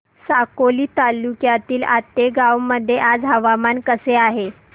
साकोली तालुक्यातील आतेगाव मध्ये आज हवामान कसे आहे